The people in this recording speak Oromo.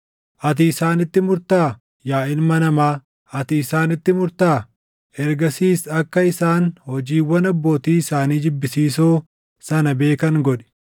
“Ati isaanitti murtaa? Yaa ilma namaa, ati isaanitti murtaa? Ergasiis akka isaan hojiiwwan abbootii isaanii jibbisiisoo sana beekan godhi;